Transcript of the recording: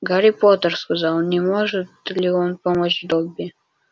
гарри поттер сказал не может ли он помочь добби